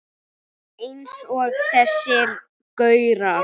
Eins og þessir gaurar!